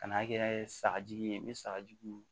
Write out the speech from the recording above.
Kan'a kɛ sagaji ye n bɛ sagajugu